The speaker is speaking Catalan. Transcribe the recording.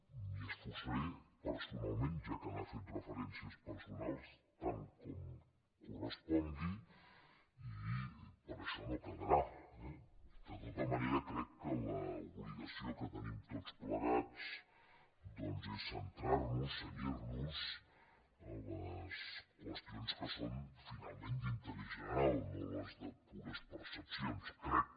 m’hi esforçaré personalment ja que ha fet referències personals tant com correspongui i per això no quedarà eh de tota manera crec que l’obligació que tenim tots plegats doncs és centrar nos cenyir nos a les qüestions que són finalment d’interès general no a les de pures percepcions crec